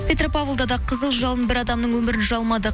петропавлда да қызыл жалын бір адамның өмірін жалмады